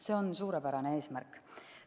See on suurepärane eesmärk.